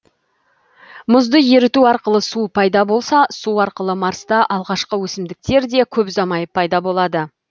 мұзды еріту арқылы су пайда болса су арқылы марста алғашқы өсімдіктер де көп ұзамай пайда болады